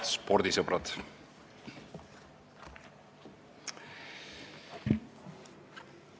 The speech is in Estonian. Head spordisõbrad!